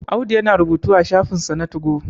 Audu yana rubutu a shafinsa na tugo